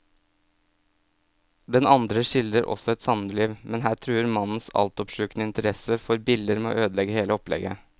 Den andre skildrer også et samliv, men her truer mannens altoppslukende interesse for biller med å ødelegge hele opplegget.